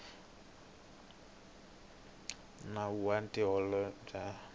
nawu wa tihuvo ta ndhavuko